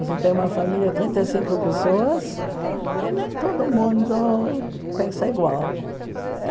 Você tem uma família trinta e cinco pessoas e nem todo mundo pensa igual. Eh